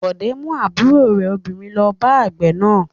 Bọ̀dé mú àbúrò rẹ̀ obìnrin lọ bá àgbẹ̀ náà.